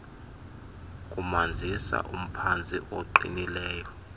kumanzisa umphantsi oqinileyo